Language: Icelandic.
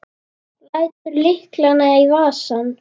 Lætur lyklana í vasann.